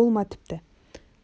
ол ма тіпті